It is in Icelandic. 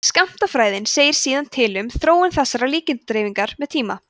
skammtafræðin segir síðan til um þróun þessarar líkindadreifingar með tíma